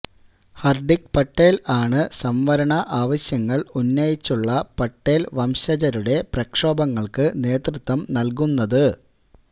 ഹാര്ദ്ദിക് പട്ടേല് ആണ് സംവരണ ആവശ്യങ്ങള് ഉന്നയിച്ചുള്ള പട്ടേല് വംശജരുടെ പ്രക്ഷോഭങ്ങള്ക്ക് നേതൃത്വം നല്കുന്നത്